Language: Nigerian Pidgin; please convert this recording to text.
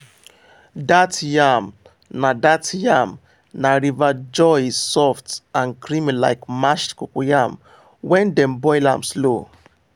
that yam na that yam na river joy e soft and creamy like mashed cocoyam when dem boil am slow.